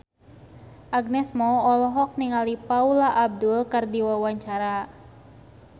Agnes Mo olohok ningali Paula Abdul keur diwawancara